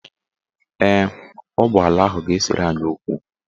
Ee, ọ bụ ala ahụ ga-esere anyị okwu.